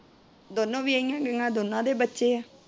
ਦੋਨੋ ਵਿਹਾਇਆ ਗਈਆਂ ਦੋਨਾਂ ਦੇ ਬੱਚੇ ਏ।